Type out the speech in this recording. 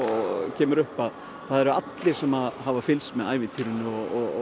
kemur upp það eru allir sem hafa fylgst með ævintýrinu og